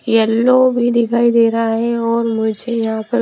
yellow भी दिखाई दे रहा है और मुझे यहां पर--